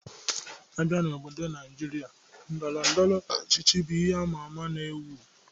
A bịa n'obodo Naịjirịa, Ndọrọ ndọrọ ọchịchị bụ ihe ama ama na-ewu.